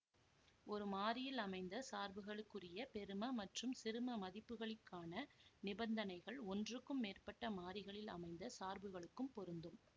ஒரு மாறியில் அமைந்த சார்புகளுக்குரிய பெரும மற்றும் சிறும மதிப்புகளிக்கான நிபந்தனைகள் ஒன்றுக்கும் மேற்பட்ட மாறிகளில் அமைந்த சார்புகளுக்கும் பொருந்தும்